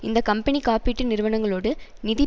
இந்த கம்பெனி காப்பீட்டு நிறுவனங்களோடு நிதி